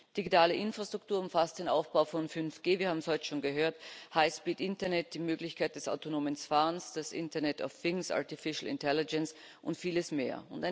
Digitale Infrastruktur umfasst den Aufbau von 5G wir haben es heute schon gehört Highspeed Internet, die Möglichkeit des autonomen Fahrens, das Internet auf internet of things artificial intelligence und vieles mehr.